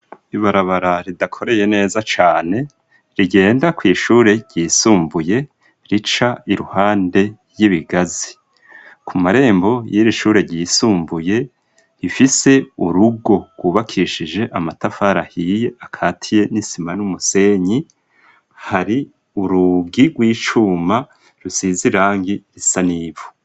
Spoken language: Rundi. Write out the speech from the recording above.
Ibarabara ridakoreye neza cane rigenda kw'ishure ryisumbuye rica iruhande y'ibigazi ku marembo y'irishure ryisumbuye hifise urugo rwubakishije amatafar ahiye akatiye n'isima n'umusenyi hari urugi rw'icuma rusize irangi risa n'ivu.